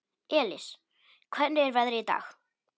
Elis, hvernig er veðrið í dag?